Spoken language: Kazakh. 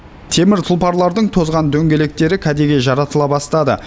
темір тұлпарлардың тозған дөңгелектері кәдеге жаратыла бастады